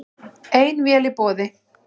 Ein vél í boði